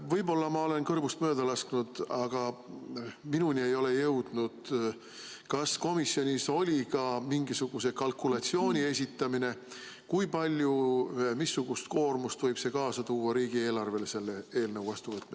Võib-olla ma olen kõrvust mööda lasknud, aga minuni ei ole jõudnud teavet, kas komisjonis esitati ka mingisugune kalkulatsioon selle kohta, kui suure koormuse võib selle eelnõu vastuvõtmine tuua kaasa riigieelarvele?